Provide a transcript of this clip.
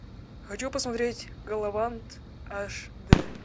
хочу посмотреть галавант аш дэ